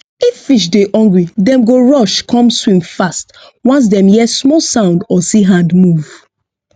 if fish dey hungry dem go rush come swim fast once dem hear small sound or see hand move